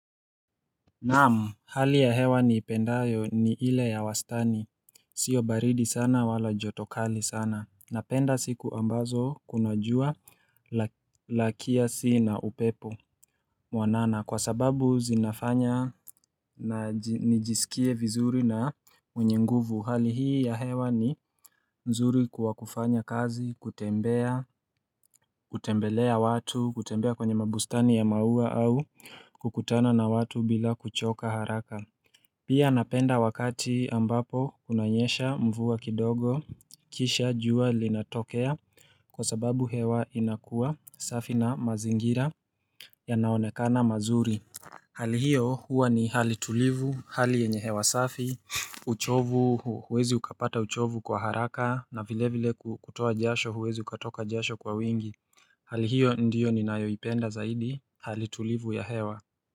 Naam, hali ya hewa ni ipendayo ni ile ya wastani, sio baridi sana wala joto kali sana, napenda siku ambazo kuna jua lakia si na upepo mwanana, kwa sababu zinafanya na nijisikie vizuri na mwenye nguvu, hali hii ya hewa ni mzuri kuwa kufanya kazi, kutembea, kutembelea watu, kutembea kwenye mabustani ya maua au kukutana na watu bila kuchoka haraka Pia napenda wakati ambapo kunanyesha mvua kidogo kisha jua linatokea kwa sababu hewa inakua safi na mazingira yanaonekana mazuri Hali hio huwa ni hali tulivu hali yenye hewa safi uchovu huwezi ukapata uchovu kwa haraka na vile vile kutoa jasho huwezi ukatoka jasho kwa wingi Hali hio ndiyo ninayoipenda zaidi hali tulivu ya hewa.